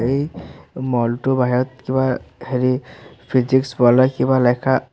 এই মল টোৰ বাহিৰত কিবা হেৰি ফিজিক্স কিবা লেখা আছ--